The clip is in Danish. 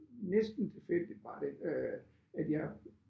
Næsten tilfældigt var det øh at jeg